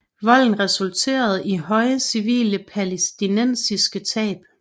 Volden resulterede i høje civile palæstinensiske tab